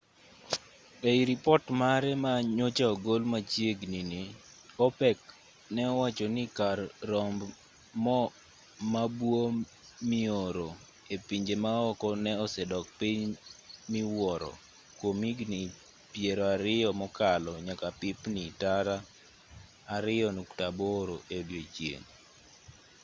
ei ripot mare ma nyocha ogol machiegni ni opec ne owacho ni kar romb mo mabuo mioro e pinje maoko ne osedok piny miwuoro kwom higni piero ariyo mokalo nyaka pipni tara 2.8 e odiechieng'